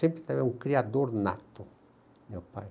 Sempre um criador nato, meu pai.